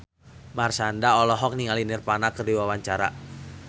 Marshanda olohok ningali Nirvana keur diwawancara